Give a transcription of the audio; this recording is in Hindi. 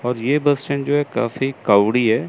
और ये बस स्टैंड जो है काफी क्राउडी है।